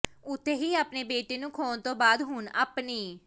ਉੱਥੇ ਹੀ ਆਪਣੇ ਬੇਟੇ ਨੂੰ ਖੋਹਣ ਤੋਂ ਬਾਅਦ ਹੁਣ ਆਪਣੀ